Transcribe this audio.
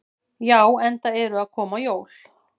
Já, enda eru að koma jól.